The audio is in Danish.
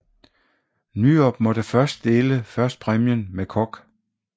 Nyrop måtte først dele førstepræmien med Koch